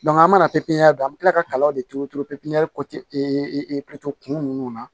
an mana don an mi kila ka kalanw de turu turu pepiniyɛri kɔ tɛ kun ninnu na